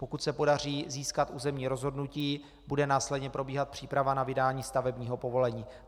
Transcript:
Pokud se podaří získat územní rozhodnutí, bude následně probíhat příprava na vydání stavebního povolení.